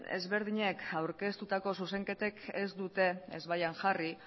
ezberdinek aurkeztutako zuzenketek ez dute ezbaian jarri